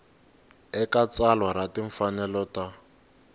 eka tsalwa ra timfanelo ta